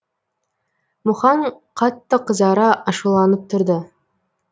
мұхаң қатты қызара ашуланып тұрды